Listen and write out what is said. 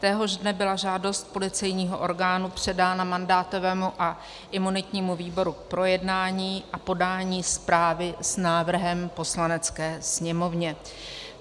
Téhož dne byla žádost policejního orgánu předána mandátovému a imunitnímu výboru k projednání a podání zprávy s návrhem Poslanecké sněmovně.